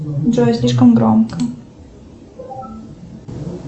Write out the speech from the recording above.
джой слишком громко